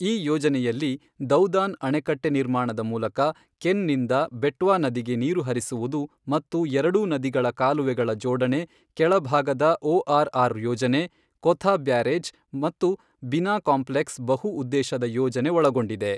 ಈ ಯೋಜನೆಯಲ್ಲಿ ದೌದಾನ್ ಅಣೆಕಟ್ಟೆ ನಿರ್ಮಾಣದ ಮೂಲಕ ಕೆನ್ ನಿಂದ ಬೆಟ್ವಾ ನದಿಗೆ ನೀರು ಹರಿಸುವುದು ಮತ್ತು ಎರಡೂ ನದಿಗಳ ಕಾಲುವೆಗಳ ಜೋಡಣೆ, ಕೆಳ ಭಾಗದ ಒಆರ್ ಆರ್ ಯೋಜನೆ, ಕೊಥಾ ಬ್ಯಾರೇಜ್ ಮತ್ತು ಬಿನಾ ಕಾಂಪ್ಲೆಕ್ಸ್ ಬಹು ಉದ್ದೇಶದ ಯೋಜನೆ ಒಳಗೊಂಡಿವೆ.